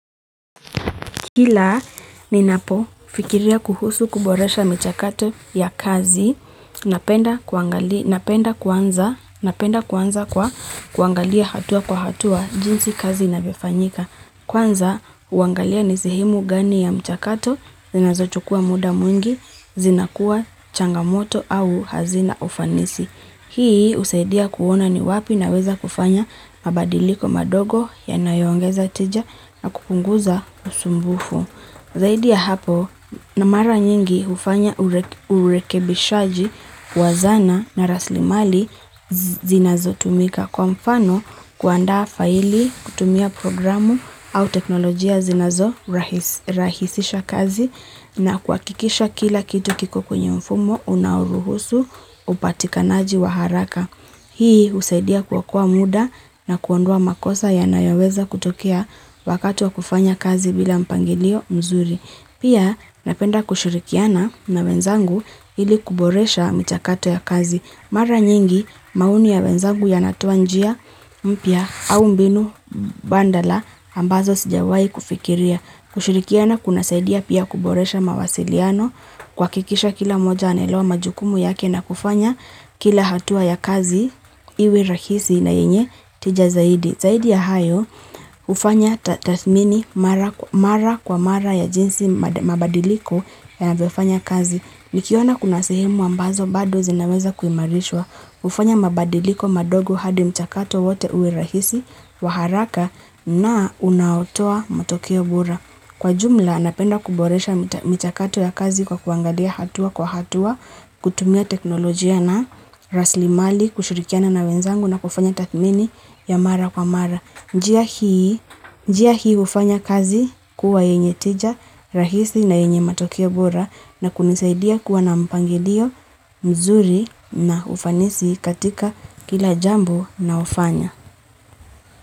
Kila ninapo fikiria kuhusu kuboresha mchakato ya kazi, napenda kwanza kwa kuangalia hatua kwa hatua jinsi kazi inavyofanyika. Kwanza huangalia ni sehemu gani ya mchakato, zinazochukua muda mwingi, zinakuwa changamoto au hazina ufanisi. Hii husaidia kuona ni wapi naweza kufanya mabadiliko madogo yanayoongeza tija na kupunguza usumbufu. Zaidi ya hapo na mara nyingi hufanya urekebishaji wa zana na raslimali zinazo tumika kwa mfano kuandaa faili kutumia programu au teknolojia zinazo rahisisha kazi na kuakikisha kila kitu kiko kwenye mfumo, unaoruhusu, upatikanaji wa haraka. Hii husaidia kuokoa muda na kuondoa makosa yanayoweza kutokea wakati wa kufanya kazi bila mpangilio mzuri. Pia napenda kushirikiana na wenzangu ili kuboresha mchakato ya kazi. Mara nyingi maoni ya wenzangu yanatoa njia mpya au mbinu bandala ambazo sijawai kufikiria. Kushirikiana kunasaidia pia kuboresha mawasiliano kuakikisha kila mmoja anaelewa majukumu yake na kufanya kila hatua ya kazi iwe rahisi na yenye tija zaidi. Zaidi ya hayo hufanya tathmini mara kwa mara ya jinsi mabadiliko yanavyofanya kazi. Nikiona kuna sehemu ambazo bado zinaweza kuimarishwa, hufanya mabadiliko madogo hadi mchakato wote uwe rahisi, wa haraka na unaotoa matokeo bora. Kwa jumla napenda kuboresha mchakato ya kazi kwa kuangalia hatua kwa hatua, kutumia teknolojia na raslimali, kushirikiana na wenzangu na kufanya tathmini ya mara kwa mara. Njia hii njia hii hufanya kazi kuwa yenye teja rahisi na yenye matokeo bora na kunisaidia kuwa na mpangilio mzuri na ufanisi katika kila jambo naofanya.